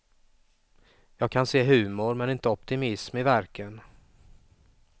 Jag kan se humor, men inte optimism i verken.